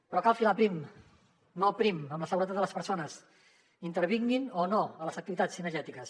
però cal filar prim molt prim amb la seguretat de les persones intervinguin o no a les activitats cinegètiques